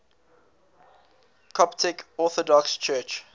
coptic orthodox church